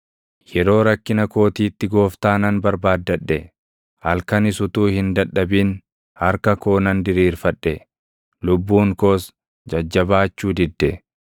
Yeroo rakkina kootiitti Gooftaa nan barbaaddadhe; halkanis utuu hin dadhabin harka koo nan diriirfadhe; lubbuun koos jajjabaachuu didde.